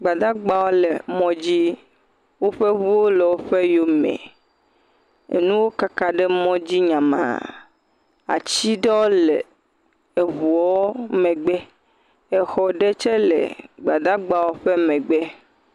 gbadagbawo le mɔ dzi woƒe ʋuwo le wóƒe yomɛ enuwo kaka ɖe mɔdzi nyamaa atsi ɖewo le eʋuɔ megbe exɔ ɖɛ tsɛ lɛ gbadagbawo ƒe megbe